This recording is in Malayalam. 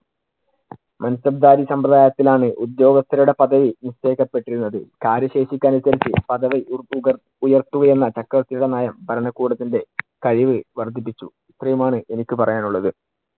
മാന്‍സബ്ദാരി സമ്പ്രദായത്തിൽ ആണ് ഉദ്യോഗസ്ഥരുടെ പദ്ധവി നിശ്ചയിക്കപ്പെട്ടിരുന്നത്. കാര്യശേഷിക്ക് അനുസരിച്ച് പദവി ഉര്‍ത്തുക~ ഉയർത്തുക എന്ന ചക്രവർത്തിയുടെ നയം ഭരണകൂടത്തിന്‍റെ കഴിവ് വർധിപ്പിച്ചു. ഇത്രെയും ആണ് എനിക്ക് പറയാൻ ഉള്ളത്.